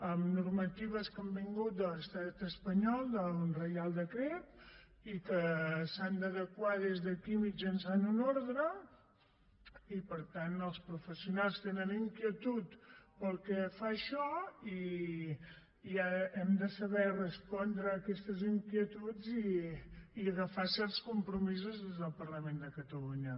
hi ha normatives que han vingut de l’estat espanyol d’un reial decret i que s’han d’adequar des d’aquí mitjançant una ordre i per tant els professionals tenen inquietud pel que fa a això i hem de saber respondre a aquestes inquietuds i agafar certs compromisos des del parlament de catalunya